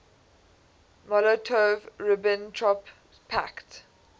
molotov ribbentrop pact